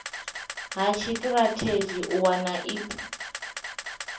ha tshitirathedzhi u wana ip